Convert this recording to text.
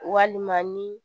Walima ni